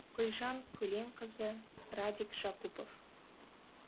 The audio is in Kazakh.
гүлжан көленқызы радик жакупов